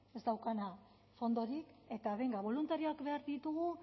ez daukana fondorik eta benga boluntarioak behar ditugu